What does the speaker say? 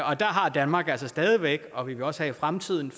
og der har danmark altså stadig væk og vil også i fremtiden